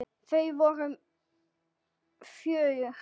Þau voru fjögur.